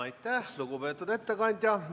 Aitäh, lugupeetud ettekandja!